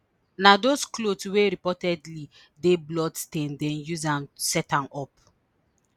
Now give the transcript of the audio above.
Na dose clothes wey reportedly dey bloodstained dey use am set am up